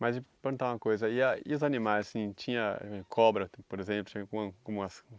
Mas e perguntar uma coisa, e a e os animais, assim, tinha cobra, por exemplo, como como as